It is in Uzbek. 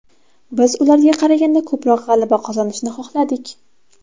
Biz ularga qaraganda ko‘proq g‘alaba qozonishni xohladik.